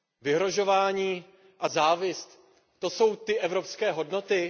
Vyhrožování a závist, to jsou ty evropské hodnoty?